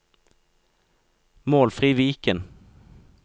Målfrid Viken